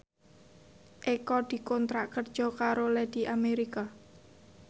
Eko dikontrak kerja karo Lady America